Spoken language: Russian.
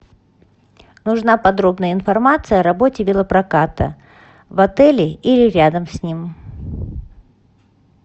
нужна подробная информация о работе велопроката в отеле или рядом с ним